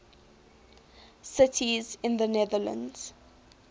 cities in the netherlands